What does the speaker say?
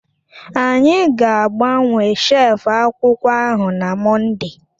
Anyi gaagbawe shef akwụkwọ ahụ na Mọnde